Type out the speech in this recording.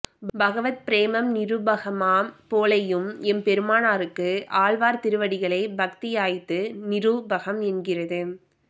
பகவத் பிரேமம் நிரூபகமாம் போலேயும் எம்பெருமானாருக்கு ஆழ்வார் திருவடிகளிலே பக்தி யாய்த்து நிரூபகம் என்கிறது